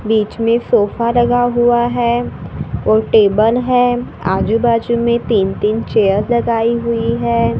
बीच में सोफा लगा हुआ है और टेबल है आजू बाजू में तीन तीन चेयर लगाई हुई है।